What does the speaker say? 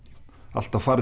alltaf farið